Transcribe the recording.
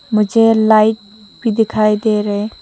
मुझे लाइट भी दिखाई दे रहे --